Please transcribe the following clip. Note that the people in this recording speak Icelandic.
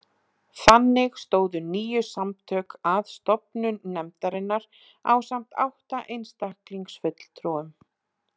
Þannig stóðu níu samtök að stofnun nefndarinnar ásamt átta einstaklingsfulltrúum